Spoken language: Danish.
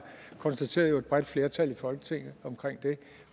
konstateret jo et bredt flertal i folketinget